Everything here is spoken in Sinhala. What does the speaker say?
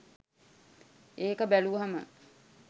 ඒක බැලුවම.